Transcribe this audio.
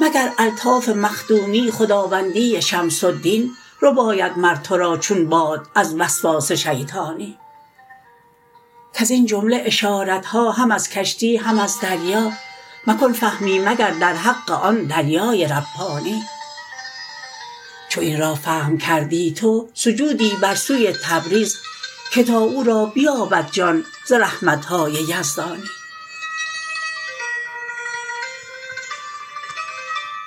مگر الطاف مخدومی خداوندی شمس دین رباید مر تو را چون باد از وسواس شیطانی کز این جمله اشارت ها هم از کشتی هم از دریا مکن فهمی مگر در حق آن دریای ربانی چو این را فهم کردی تو سجودی بر سوی تبریز که تا او را بیابد جان ز رحمت های یزدانی